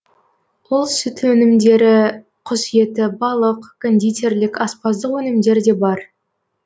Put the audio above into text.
ол сүт өнімдері құс еті балық кондитерлік аспаздық өнімдер де бар